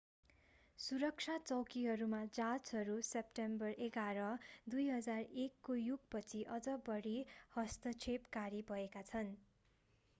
सुरक्षा चौकीहरूमा जाँचहरू सेप्टेम्बर 11 2001 को युग पछि अझ बढी हस्तक्षेपकारी भएका छन्